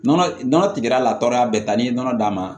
Nɔnɔ nɔnɔ tigi yɛrɛ la tɔgɔya bɛɛ ta n'i ye nɔnɔ d'a ma